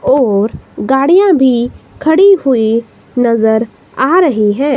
और गाड़ियां भी खड़ी हुई नजर आ रही हैं।